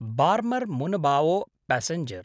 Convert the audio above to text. Barmer Munabao passenger